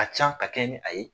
A can ka kɛ ni a ye